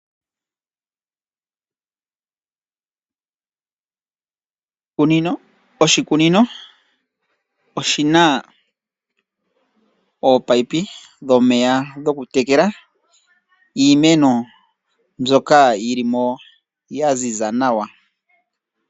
Oshikunino oshina ominino dhomeya dhokutekela iimeno. Mbyoka yi li mo ya ziza nawa.